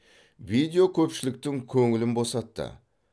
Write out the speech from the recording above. видео көпшіліктің көңілін босатты